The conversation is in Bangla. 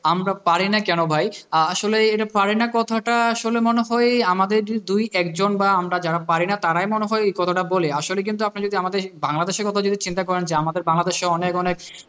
আমরা পারি না কেন ভাই, আসলে এই পারিনা কথাটা আসলে মনে হয় আমাদের দুই একজন বা আমরা যারা পারিনা তারাই এই কথাটা বলি, আসলে কিন্তু আপনি যদি আমাদের বাংলাদেশের কথাটা চিন্তা করেন, যে আমাদের বাংলাদেশে অনেক অনেক,